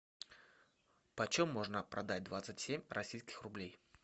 почем можно продать двадцать семь российских рублей